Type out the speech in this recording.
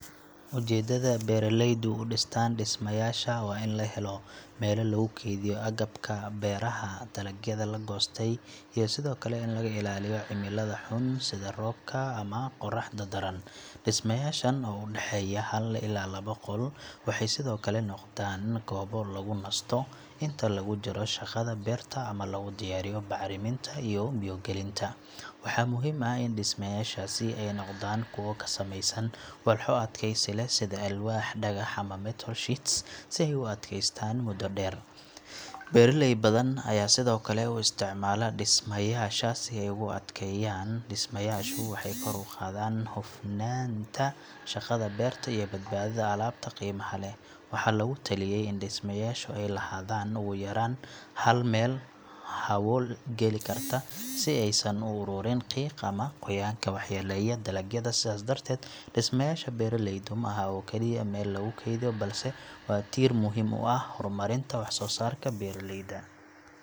Ujeeddada beeraleydu u dhistaan dhismayaasha waa in la helo meel lagu kaydiyo agabka beeraha, dalagyada la goostay iyo sidoo kale in laga ilaaliyo cimilada xun sida roobka ama qoraxda daran. Dhismayaashan oo u dhexeeya hal ilaa laba qol waxay sidoo kale noqdaan goobo lagu nasto inta lagu jiro shaqada beerta ama lagu diyaariyo bacriminta iyo biyo gelinta. Waxaa muhiim ah in dhismayaashaasi ay noqdaan kuwo ka samaysan walxo adkaysi leh sida alwaax, dhagax ama metal sheets si ay u adkeystaan muddo dheer. Beeraley badan ayaa sidoo kale u isticmaala dhismayaasha si ay ugu keydiyaan dambaska, abuurka iyo qalabka sida fargeetada iyo hoes. Marka loo dhiso si wanaagsan, dhismayaashu waxay kor u qaadaan hufnaanta shaqada beerta iyo badbaadada alaabta qiimaha leh. Waxaa lagu taliyay in dhismayaashu ay lahaadaan ugu yaraan hal meel hawo geli karta si aysan u ururin qiiq ama qoyaanka waxyeelaya dalagyada. Sidaas darteed, dhismayaasha beeraleydu ma aha oo kaliya meel lagu kaydiyo, balse waa tiir muhiim u ah horumarinta wax soo saarka beeraleyda.